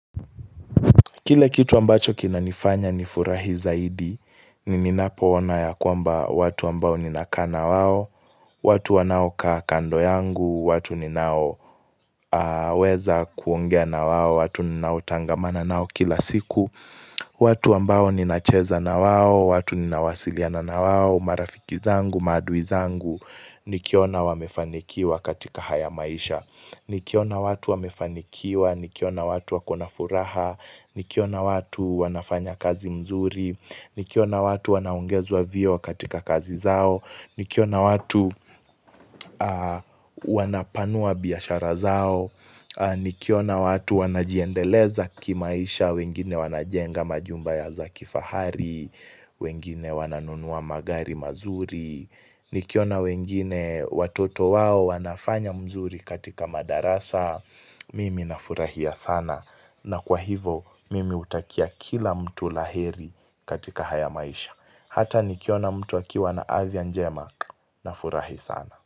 Kile kitu ambacho kinanifanya nifurahi zaidi, ni ninapoona ya kwamba watu ambao ninakaa na wao, watu wanaokaa kando yangu, watu ninao weza kuongea na wao, watu ninaotangamana nao kila siku, watu ambao ninacheza na wao, watu ninawasiliana na wao, marafiki zangu, maadui zangu, nikiona wamefanikiwa katika haya maisha. Nikiona watu wamefanikiwa, nikiona watu wako na furaha, nikiona watu wanafanya kazi mzuri, nikiona watu wanaongezwa vyeo katika kazi zao, nikiona watu wanapanua biashara zao, nikiona watu wanajiendeleza kimaisha, wengine wanajenga majumba za kifahari, wengine wananunua magari mazuri Nikiona wengine watoto wao wanafanya mzuri katika madarasa Mimi nafurahia sana. Na kwa hivyo mimi hutakia kila mtu la heri katika haya maisha. Hata nikiona mtu akiwa na afya njema nfurahi sana.